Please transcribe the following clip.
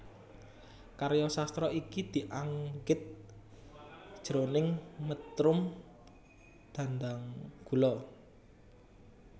Karya sastra iki dianggit jroning métrum dhandhanggula